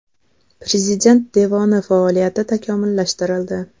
Prezident devoni faoliyati takomillashtirildi.